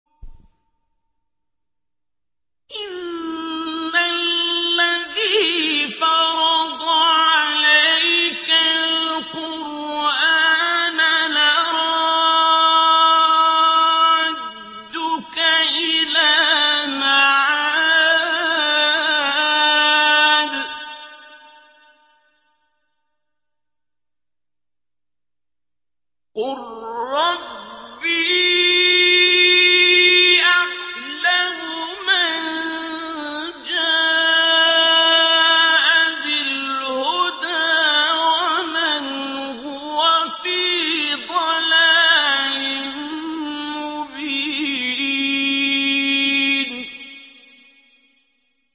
إِنَّ الَّذِي فَرَضَ عَلَيْكَ الْقُرْآنَ لَرَادُّكَ إِلَىٰ مَعَادٍ ۚ قُل رَّبِّي أَعْلَمُ مَن جَاءَ بِالْهُدَىٰ وَمَنْ هُوَ فِي ضَلَالٍ مُّبِينٍ